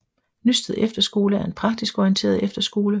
Nysted Efterskole er en praktisk orienteret efterskole